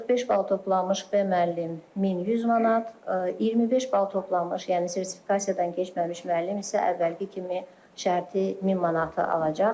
45 bal toplanmış B müəllim 1100 manat, 25 bal toplanmış, yəni sertifikasiyadan keçməmiş müəllim isə əvvəlki kimi şərti 1000 manat alacaq.